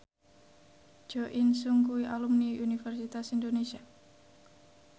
Jo In Sung kuwi alumni Universitas Indonesia